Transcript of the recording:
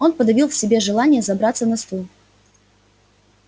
он подавил в себе желание забраться на стул